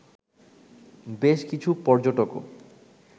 বেশ কিছু পর্যটকও